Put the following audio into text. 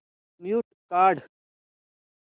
mute काढ